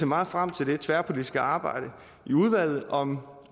meget frem til det tværpolitiske arbejde i udvalget om